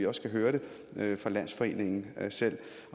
også høre det fra landsforeningen selv